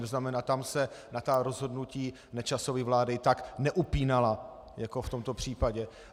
To znamená, tam se na to rozhodnutí Nečasovy vlády tak neupínala jako v tomto případě.